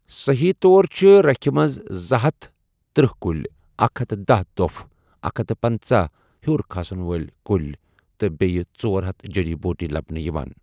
صٔحیٖح طورَ چِھ رٕكھہِ مَنٛز زٕہتھ تٔرہ کُلۍ ، اکھ ہتھ داہ دۄپھ ، اکھ ہتھَ پنژاہ ہِیور كُن كھسن وٲلۍ کُلۍ ، تہٕ بیٛیہِ ژۄرہتھَ جھڈی بوٗٹی لبنہٕ یوان ۔